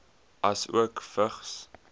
asook vigs